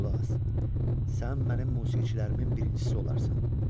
Qulaq as, sən mənim musiqiçilərimin birincisi olarsan.